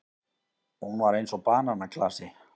Hún var eins og bananaklasi.